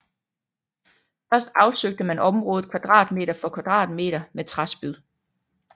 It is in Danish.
Først afsøgte man området kvadratmeter for kvadratmeter med træspyd